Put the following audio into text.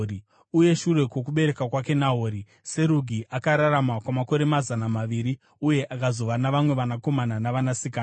Uye shure kwokubereka kwake Nahori, Serugi akararama kwamakore mazana maviri uye akazova navamwe vanakomana navanasikana.